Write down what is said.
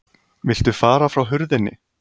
VILTU FARA FRÁ HURÐINNI